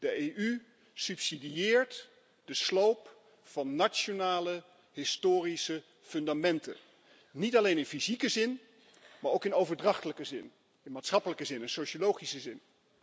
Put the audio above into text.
De EU subsidieert de sloop van nationale historische fundamenten, niet alleen in fysieke zin, maar ook in overdrachtelijke zin, in maatschappelijke zin, in sociologische zin.